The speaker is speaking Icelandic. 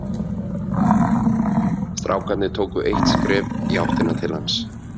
Strákarnir tóku eitt skref í áttina til hans.